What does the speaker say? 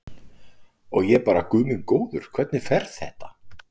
Og ég bara guð minn góður, hvernig fer þetta?